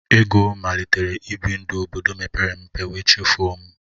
Ego malitere ibi ndụ obodo mepere emepe wee chefuo m